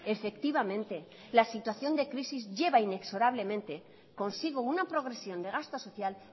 efectivamente la situación de crisis lleva inexorablemente consigo una progresión de gasto social